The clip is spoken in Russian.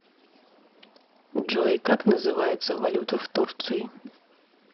джой как называется валюта в турции